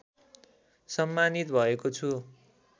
सम्मानित भएको छु